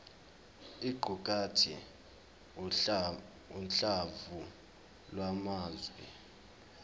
iqukathe uhlamvu lwamazwi